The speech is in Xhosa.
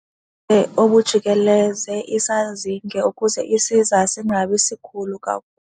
Obujikeleze isazinge ukuze isiza singabi sikhulu kakhulu.